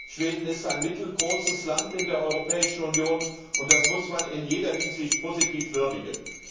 Schweden ist ein mittelgroßes Land in der Europäischen Union, und das muss man in jeder Hinsicht positiv würdigen.